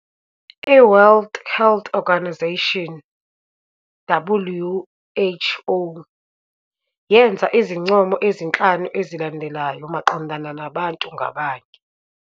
I-World Health Organization, WHO, yenza izincomo ezinhlanu ezilandelayo maqondana nabantu ngabanye.